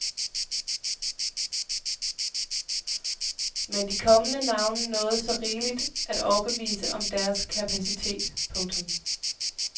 Men de kommende navne nåede så rigeligt at overbevise om deres kapacitet. punktum